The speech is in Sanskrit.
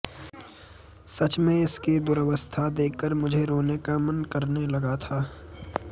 सच में इसकी दुरवस्था देखकर मुझे रोने का मन करने लगा था